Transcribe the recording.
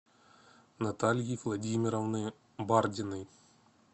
натальи владимировны бардиной